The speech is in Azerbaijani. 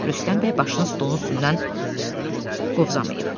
Rüstəm bəy başını stolun üstündən qovzamaıyıb.